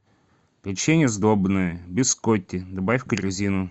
печенье сдобное бискотти добавь в корзину